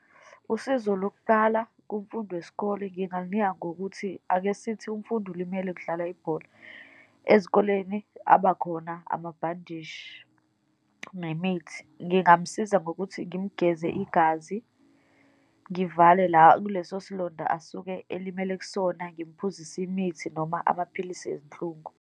Usizo lokuqala kumfundi wesikole, ngingalunika ngokuthi akesithi umfundi ulimele kudlalwa ibhola, ezikoleni abakhona amabhandishi nemithi. Ngingamsiza ngokuthi ngimgeze igazi, ngivale la kuleso silonda asuke elimele kusona, ngimphuzise imithi, noma amaphilisi ezinhlungu.